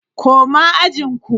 Koma ajin ku!